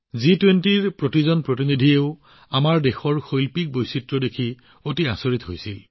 জি২০লৈ অহা প্ৰতিজন প্ৰতিনিধিয়েও আমাৰ দেশৰ কলাত্মক বৈচিত্ৰ্য দেখি আচৰিত হৈছিল